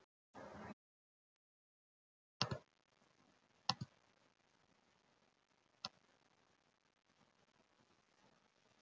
Of lengi lék barnið sér í baði